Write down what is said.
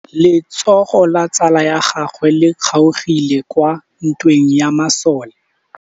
Letsôgô la tsala ya gagwe le kgaogile kwa ntweng ya masole.